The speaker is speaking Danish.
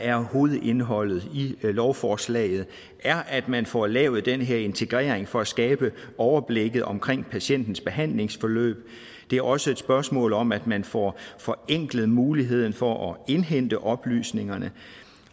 er hovedindholdet i lovforslaget er at man får lavet den her integrering for at skabe overblikket omkring patientens behandlingsforløb det er også et spørgsmål om at man får forenklet muligheden for at indhente oplysningerne